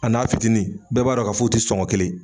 A n'a fitinin bɛɛ b'a dɔn ka fɔ u ti sɔngɔ kelen ye.